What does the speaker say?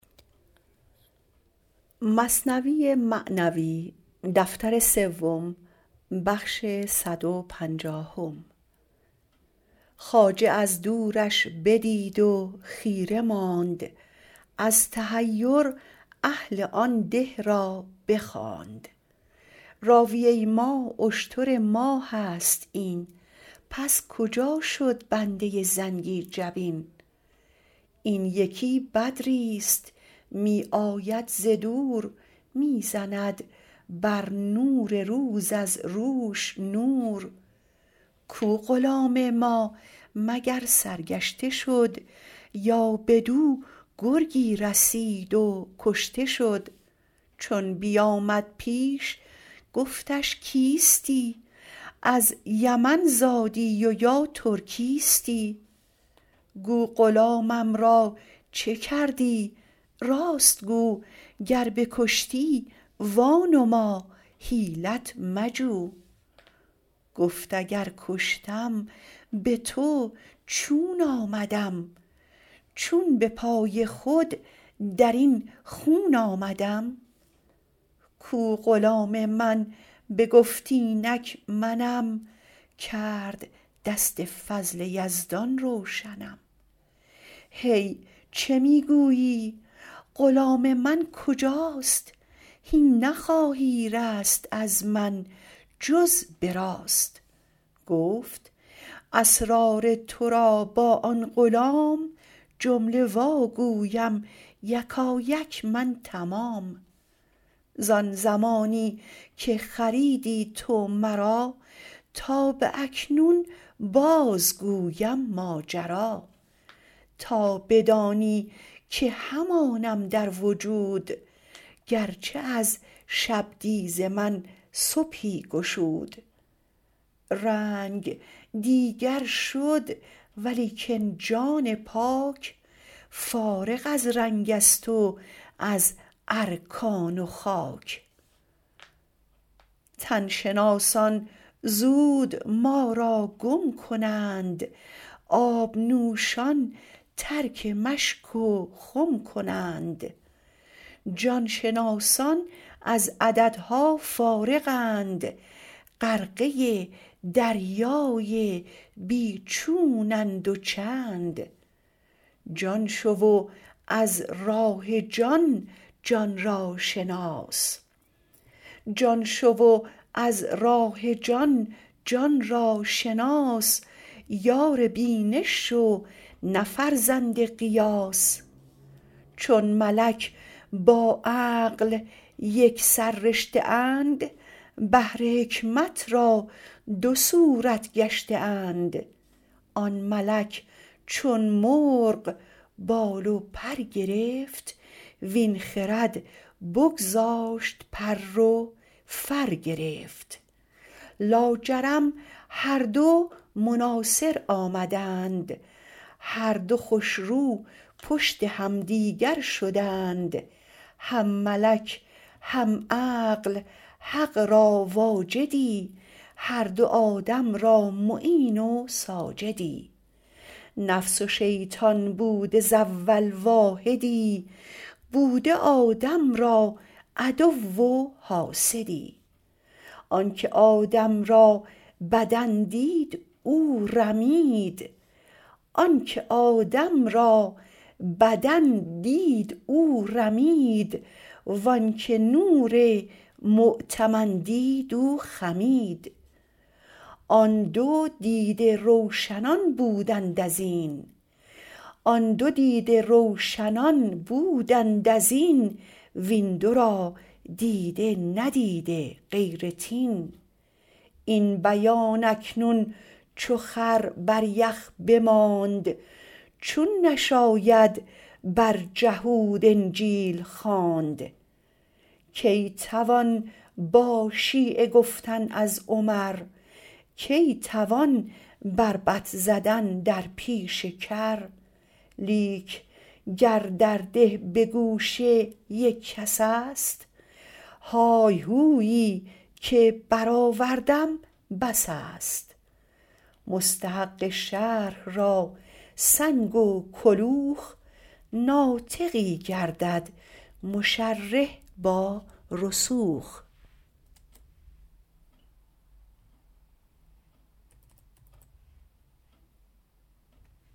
خواجه از دورش بدید و خیره ماند از تحیر اهل آن ده را بخواند راویه ما اشتر ما هست این پس کجا شد بنده زنگی جبین این یکی بدریست می آید ز دور می زند بر نور روز از روش نور کو غلام ما مگر سرگشته شد یا بدو گرگی رسید و کشته شد چون بیامد پیش گفتش کیستی از یمن زادی و یا ترکیستی گو غلامم را چه کردی راست گو گر بکشتی وا نما حیلت مجو گفت اگر کشتم بتو چون آمدم چون به پای خود درین خون آمدم کو غلام من بگفت اینک منم کرد دست فضل یزدان روشنم هی چه می گویی غلام من کجاست هین نخواهی رست از من جز براست گفت اسرار ترا با آن غلام جمله وا گویم یکایک من تمام زان زمانی که خریدی تو مرا تا به اکنون باز گویم ماجرا تا بدانی که همانم در وجود گرچه از شبدیز من صبحی گشود رنگ دیگر شد ولیکن جان پاک فارغ از رنگست و از ارکان و خاک تن شناسان زود ما را گم کنند آب نوشان ترک مشک و خم کنند جان شناسان از عددها فارغ اند غرقه دریای بی چونند و چند جان شو و از راه جان جان را شناس یار بینش شو نه فرزند قیاس چون ملک با عقل یک سررشته اند بهر حکمت را دو صورت گشته اند آن ملک چون مرغ بال و پر گرفت وین خرد بگذاشت پر و فر گرفت لاجرم هر دو مناصر آمدند هر دو خوش رو پشت همدیگر شدند هم ملک هم عقل حق را واجدی هر دو آدم را معین و ساجدی نفس و شیطان بوده ز اول واحدی بوده آدم را عدو و حاسدی آنک آدم را بدن دید او رمید و آنک نور مؤتمن دید او خمید آن دو دیده روشنان بودند ازین وین دو را دیده ندیده غیر طین این بیان اکنون چو خر بر یخ بماند چون نشاید بر جهود انجیل خواند کی توان با شیعه گفتن از عمر کی توان بربط زدن در پیش کر لیک گر در ده به گوشه یک کسست های هویی که برآوردم بسست مستحق شرح را سنگ و کلوخ ناطقی گردد مشرح با رسوخ